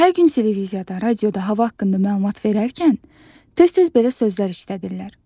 Hər gün televiziyada, radioda hava haqqında məlumat verərkən, tez-tez belə sözlər işlədirlər.